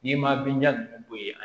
N'i ma binja ninnu bɔ yen